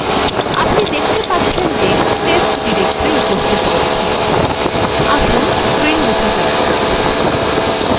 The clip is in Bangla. আপনি দেখতে পাচ্ছেন যে test directory উপস্থিত রয়েছে আসুন screen মুছে ফেলা যাক